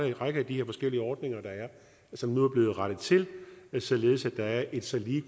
en række af de her forskellige ordninger der er som nu er blevet rettet til således at der er et så lige